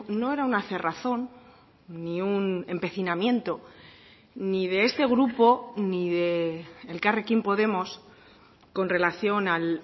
no era una cerrazón ni un empecinamiento ni de este grupo ni de elkarrekin podemos con relación al